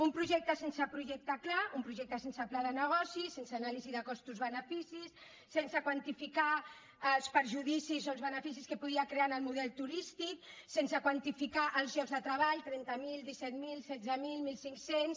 un projecte sense projecte clar un projecte sense pla de negocis sense anàlisi de costos beneficis sense quantificar els perjudicis o els beneficis que podia crear en el model turístic sense quantificar els llocs de treball trenta mil disset mil setze mil mil cinc cents